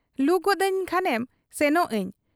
ᱞᱩ ᱜᱚᱫ ᱟᱹᱧ ᱠᱷᱟᱱᱮᱱ ᱥᱮᱱᱚᱜ ᱟᱹᱧ ᱾